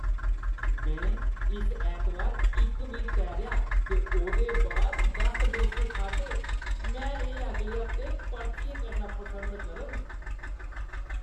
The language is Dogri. मैं इस ऐतबार इक मील तैरेआ ते ओह्दे बाद दस डोसे खाद्धे। मैं एह् अगले हफ्तै परतियै करना पसंद करङ।